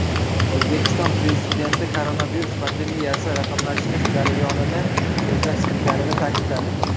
O‘zbekiston Prezidenti koronavirus pandemiyasi raqamlashtirish jarayonini tezlashtirganini ta’kidladi.